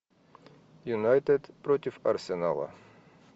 юнайтед против арсенала